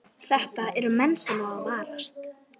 Þetta eru menn sem á að varast